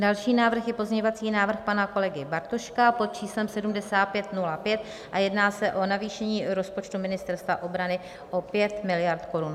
Další návrh je pozměňovací návrh pana kolegy Bartoška pod číslem 7505 a jedná se o navýšení rozpočtu Ministerstva obrany o 5 miliard korun.